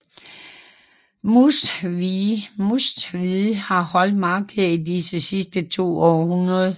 Mustvee har holdt markeder i de sidste to århundreder